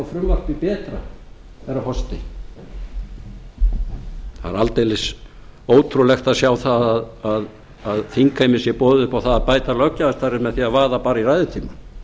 frumvarpið betra herra forseti það er aldeilis ótrúlegt að sjá það að þingheimi sé boðið upp á það að bæta löggjafarstarfið með því að vaða bara í ræðutímann